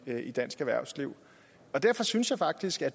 i dansk erhvervsliv derfor synes jeg faktisk det